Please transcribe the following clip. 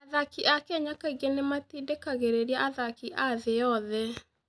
Athaki a Kenya kaingĩ nĩ matindĩkagĩrĩria athaki a thĩ yothe.